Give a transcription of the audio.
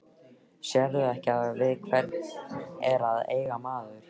Sérðu ekki við hvern er að eiga maður?